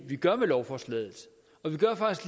vi gør med lovforslaget